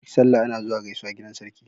Duk sallah ana zuwa gaisuwa gidan sarki.